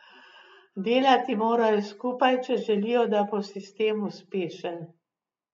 Delati morajo skupaj, če želijo, da bo sistem uspešen.